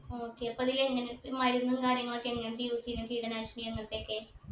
okay അപ്പൊ അതിങ്ങനെ ഇ മരുന്നും കാര്യങ്ങളൊക്കെ എങ്ങത്തെ use ചെയ്യുന്നേ കീടനാശിനി അങ്ങത്തൊക്കെ